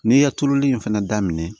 N'i ye tulu in fɛnɛ daminɛ